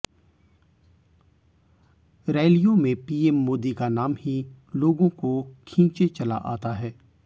रैलियों में पीएम मोदी का नाम ही लोगों को खींचे चला आता है